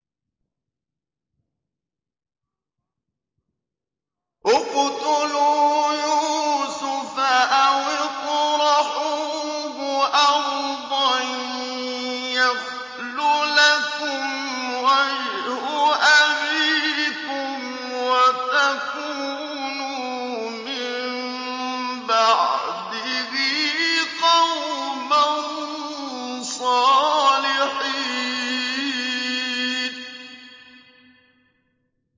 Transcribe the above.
اقْتُلُوا يُوسُفَ أَوِ اطْرَحُوهُ أَرْضًا يَخْلُ لَكُمْ وَجْهُ أَبِيكُمْ وَتَكُونُوا مِن بَعْدِهِ قَوْمًا صَالِحِينَ